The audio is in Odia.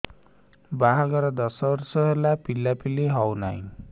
ବାହାଘର ଦଶ ବର୍ଷ ହେଲା ପିଲାପିଲି ହଉନାହି